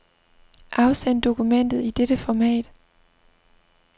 Afsend dokumentet i dette format.